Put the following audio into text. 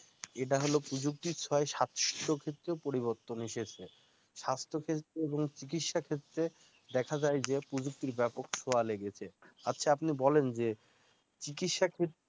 এইটা হলো প্রযুক্তির ছোয়ায় স্বাস্থ্য ক্ষেত্রে পরিবর্তন এসেছে স্বাস্থ্য ক্ষেত্রে বা চিকিৎসা ক্ষেত্রে দেখা যায় যে প্রযুক্তির ব্যাপক ছোয়া লেগেছে আচ্ছা আপনি বলেন যে চিকিৎসা ক্ষেত্রে